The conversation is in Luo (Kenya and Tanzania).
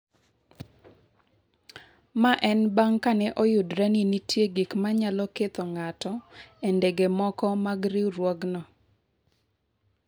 Mae en bang’ ka ne oyudre ni nitie gik ma nyalo ketho ng’ato e ndege moko mag riwruogno.